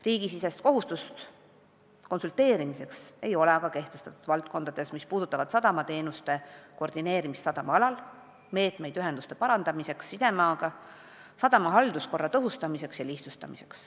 Riigisisest konsulteerimise kohustust ei ole aga kehtestatud valdkondades, mis hõlmavad sadamateenuste koordineerimist sadamaalal, meetmeid sisemaaga ühenduste parandamiseks, sadamate halduskorra tõhustamiseks ja lihtsustamiseks.